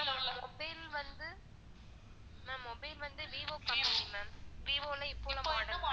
ma'am mobile வந்து ma'am mobile வந்து vivo company ma'am vivo ல இப்போ உள்ள